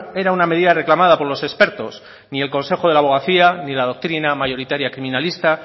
era una medida reclamada por los expertos ni el consejo de la abogacía ni la doctrina mayoritaria criminalista